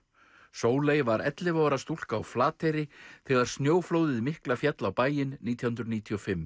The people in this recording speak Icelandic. Sóley var ellefu ára stúlka á Flateyri þegar snjóflóðið mikla féll á bæinn nítján hundruð níutíu og fimm